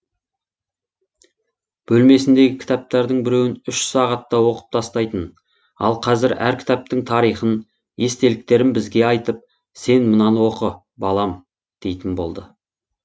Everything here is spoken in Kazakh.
бөлмесіндегі кітаптардың біреуін үш сағатта оқып тастайтын ал қазір әр кітаптың тарихын естеліктерін бізге айтып сен мынаны оқы балам дейтін болды